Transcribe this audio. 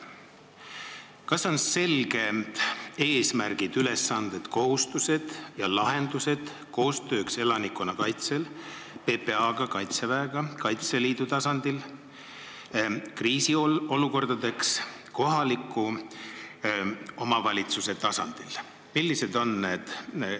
Kas on selged eesmärgid, ülesanded, kohustused ja lahendused koostööks elanikkonnakaitsel PPA-ga, Kaitseväega, Kaitseliiduga ja kriisiolukordades kohaliku omavalitsuse tasandil?